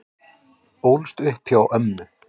Ólst upp hjá ömmu